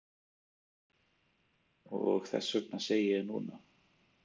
Og þess vegna segi ég núna.